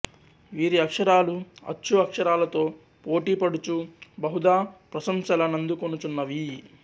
వీరి అక్షరాలు అచ్చు అక్షరాలతో పోటీ పడుచూ బహుదా ప్రశంసలనందుకొనుచున్నవి